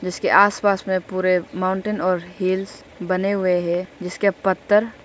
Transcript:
इसके आसपास में पूरे माउंटेन और हिल्स बने हुए हैं जिसके पत्थर--